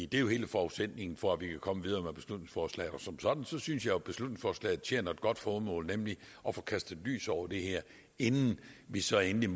det er jo hele forudsætningen for at vi kan komme videre med beslutningsforslaget som sådan synes jeg at beslutningsforslaget tjener et godt formål nemlig at få kastet lys over det her inden vi så endelig